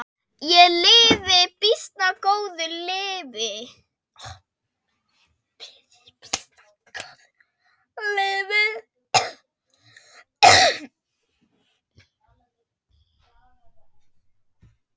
Ég lifi býsna góðu lífi!